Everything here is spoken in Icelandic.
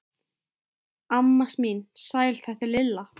Amma mín, sæl þetta er Lilla